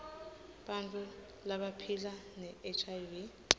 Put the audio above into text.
bantfu labaphila nehiv